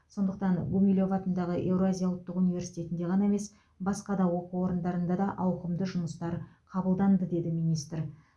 сондықтан гумилев атындағы еуразия ұлттық университетінде ғана емес басқа да оқу орындарында да ауқымды жұмыстар қабылданды деді министр